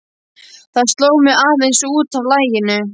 Það sló mig aðeins út af laginu.